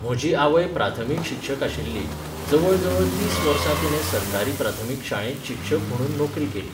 म्हजी आवय प्राथमीक शिक्षक आशिल्ली, जवळजवळ तीस वर्सां तिणें सरकारी प्राथमीक शाळेंत शिक्षक म्हुणून नोकरी केली